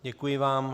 Děkuji vám.